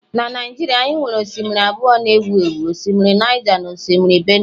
Na Naijiria anyị nwere osimiri abụọ ewu ewu, osimiri Niger na osimiri Benue